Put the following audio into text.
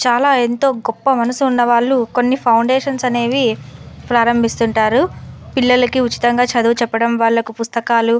చాలా ఎంతో గొప్ప మనసు ఉండేవాళ్లు కొన్ని ఫౌండషన్స్ అనేవి ప్రారంభిస్తుంటారు. పిల్లలికి ఉచితంగా చదువు చెప్పడం వాళ్లకు పుస్తకాలు --